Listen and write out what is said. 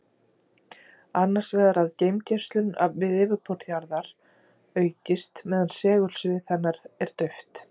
Annars vegar að geimgeislun við yfirborð jarðar aukist meðan segulsvið hennar er dauft.